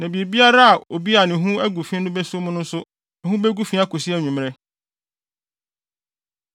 Na biribiara a obi a ne ho agu fi no beso mu no nso ho begu fi akosi anwummere.”